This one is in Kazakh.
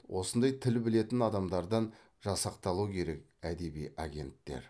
осындай тіл білетін адамдардан жасақталу керек әдеби агенттер